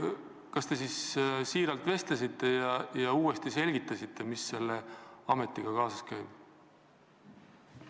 Kas te vestlesite ministriga tõsiselt ja selgitasite talle uuesti, mis selle ametiga kaasas käib?